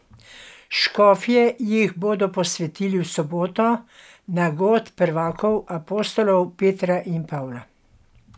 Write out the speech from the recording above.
Škofje jih bodo posvetili v soboto na god prvakov apostolov Petra in Pavla.